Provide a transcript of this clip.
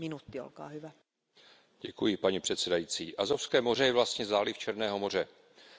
Paní předsedající, Azovské moře je vlastně záliv Černého moře mezi Krymem a jihoruskou stepí.